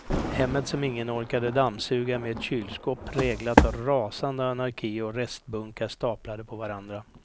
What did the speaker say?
Hemmet som ingen orkade dammsuga, med ett kylskåp präglat av rasande anarki och restbunkar staplade på varandra.